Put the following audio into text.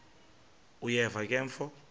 uyeva ke mfo